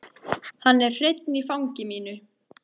Hann er hreinn í fangi mínu.